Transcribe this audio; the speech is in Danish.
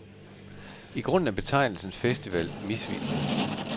I grunden er betegnelsen festival misvisende.